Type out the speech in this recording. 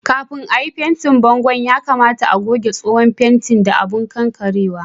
Kafin à yi fentin bongon' ,ya kamata ka goge tsohon fentin da abun kankarewa.